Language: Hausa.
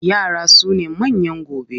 Yara sune manyan gobe.